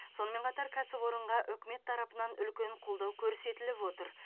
сонымен қатар кәсіпорынға үкімет тарапынан үлкен қолдау көрсетіліп отыр